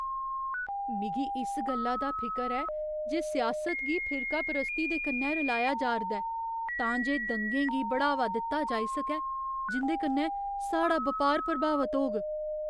मिगी इस गल्ला दा फिकर ऐ जे सियासत गी फिरकापरस्ती दे कन्नै रलाया जा'रदा ऐ तां जे दंगें गी बढ़ावा दित्ता जाई सकै जिं'दे कन्नै साढ़ा बपार प्रभावत होग।